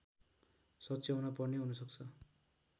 सच्याउन पर्ने हुनसक्छ